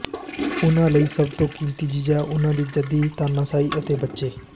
ਉਹਨਾਂ ਲਈ ਸਭ ਤੋਂ ਕੀਮਤੀ ਚੀਜ਼ ਹੈ ਉਨ੍ਹਾਂ ਦੀ ਜੱਦੀ ਤਾਨਾਸ਼ਾਹੀ ਅਤੇ ਬੱਚੇ